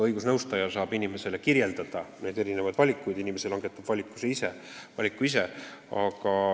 Õigusnõustaja saab inimesele tutvustada erinevaid valikuid, inimene langetab valiku ise.